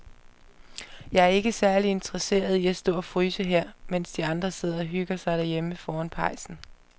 Jeg er ikke særlig interesseret i at stå og fryse her, mens de andre sidder og hygger sig derhjemme foran pejsen.